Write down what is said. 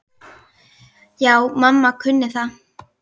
Já, mamma kunni það.